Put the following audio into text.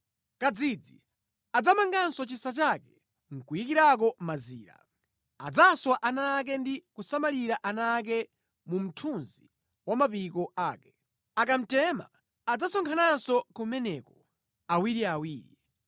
Kadzidzi adzamangako chisa chake nʼkuyikirako mazira, adzaswa ana ake ndi kusamalira ana ake mu mthunzi wa mapiko ake; akamtema adzasonkhananso kumeneko, awiriawiri.